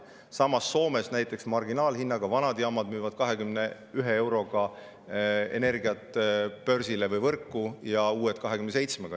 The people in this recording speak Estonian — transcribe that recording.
Samas, näiteks Soomes müüvad vanad jaamad energiat börsile või võrku marginaalhinnaga 21 eurot ja uued 27 euroga.